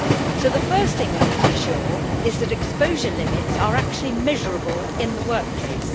So the first thing we must ensure is that exposure limits are actually measurable in the workplace.